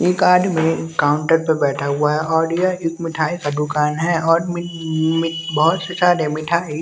एक आदमी काउंटर पे बैठा हुआ है और यह एक मिठाई का दुकान है और मि मि और बहोत सारे मिठाई--